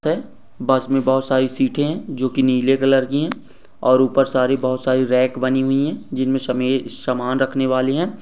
हैं बस में बहोत सारी सीटें है जो कि नीले कलर की है और ऊपर सारी बहोत सारी रैक बनी हुई है जिनमे समे समान रखने वाले है।